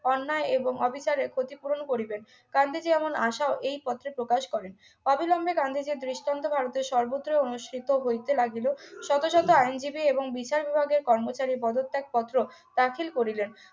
অন্যায় এবং অবিচারের ক্ষতিপূরণ করিবেন গান্ধীজী এমন আশা এই পত্রে প্রকাশ করেন অবিলম্বে গান্ধীজীর দৃষ্টান্ত ভারতের সর্বত্রই অনুষ্ঠিত হইতে লাগিল শত শত আইনজীবী এবং বিচার বিভাগের কর্মচারীর পদত্যাগপত্র দাখিল করিলেন